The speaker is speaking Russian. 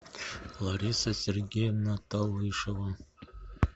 лариса сергеевна талышева